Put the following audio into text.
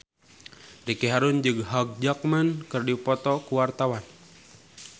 Ricky Harun jeung Hugh Jackman keur dipoto ku wartawan